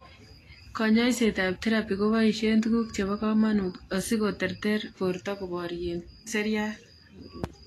Konyoiset ab therapy koboisien tuguk chebo komanut asikotoret borto koborien seriat